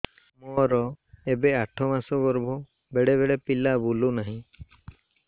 ମୋର ଏବେ ଆଠ ମାସ ଗର୍ଭ ବେଳେ ବେଳେ ପିଲା ବୁଲୁ ନାହିଁ